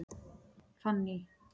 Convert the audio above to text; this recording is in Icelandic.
Fanný